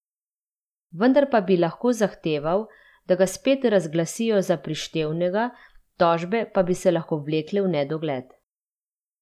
Vendar pa bi lahko zahteval, da ga spet razglasijo za prištevnega, tožbe pa bi se lahko vlekle v nedogled.